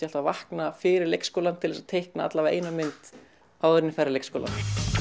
alltaf að vakna fyrir leikskólann til þess að teikna allavega eina mynd áður en ég færi í leikskólann